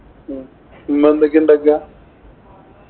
ഉം ഉമ്മ എന്തൊക്കെയാ ഉണ്ടാക്കുക?